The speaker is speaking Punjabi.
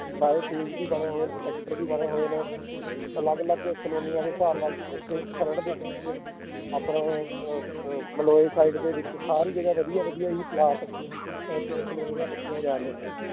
ਸਾਰੇ phase ਵੀ ਬਣੇ ਹੋਏ ਨੇ sector ਵੀ ਬਣੇ ਹੋਏ ਨੇੇ ਅਲੱਗ ਅਲੱਗ ਕਾਲੋਨੀਆਂ ਦੇ ਹਿਸਾਬ ਨਾਲ ਇੱਥੇ ਖਰੜ ਦੇ 'ਚ ਆਪਣਾ ਇਹ ਅਹ ਅਹ ਮਲੋਆ side ਦੇ ਵਿੱਚ ਸਾਰੀ ਜਗ੍ਹਾ ਵਧੀਆ ਵਧੀਆ ਹੀ ਪਲਾਟ ਅਹ ਤੇ ਕਲੋਨੀਆਂ ਕਟਿਆ ਜਾ ਰਹੀਆਂ ਹਨ l